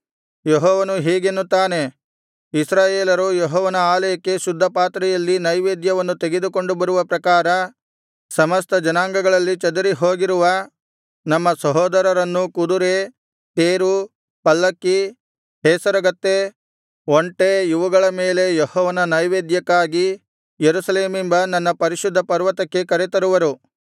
ಯೆಹೋವನು ಹೀಗೆನ್ನುತ್ತಾನೆ ಇಸ್ರಾಯೇಲರು ಯೆಹೋವನ ಆಲಯಕ್ಕೆ ಶುದ್ಧಪಾತ್ರೆಯಲ್ಲಿ ನೈವೇದ್ಯವನ್ನು ತೆಗೆದುಕೊಂಡು ಬರುವ ಪ್ರಕಾರ ಸಮಸ್ತ ಜನಾಂಗಗಳಲ್ಲಿ ಚದರಿಹೋಗಿರುವ ನಮ್ಮ ಸಹೋದರರನ್ನು ಕುದುರೆ ತೇರು ಪಲ್ಲಕಿ ಹೇಸರಗತ್ತೆ ಒಂಟೆ ಇವುಗಳ ಮೇಲೆ ಯೆಹೋವನ ನೈವೇದ್ಯಕ್ಕಾಗಿ ಯೆರೂಸಲೇಮೆಂಬ ನನ್ನ ಪರಿಶುದ್ಧಪರ್ವತಕ್ಕೆ ಕರೆತರುವರು